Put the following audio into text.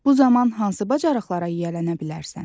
Bu zaman hansı bacarıqlara yiyələnə bilərsən?